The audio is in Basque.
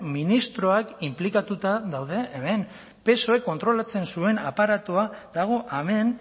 ministroak inplikatuta daude hemen psoek kontrolatzen zuen aparatua dago hemen